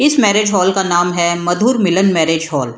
इस marriage hall का नाम है मधुर मिलन मेरेज हॉल ।